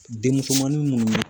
Denmusomanin minnu